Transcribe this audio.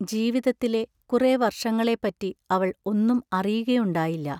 ജീവിതത്തിലെ കുറെ വർഷങ്ങളെപ്പറ്റി അവൾ ഒന്നും അറിയുക യുണ്ടായില്ല.